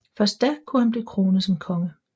Først da kunne han blive kronet som konge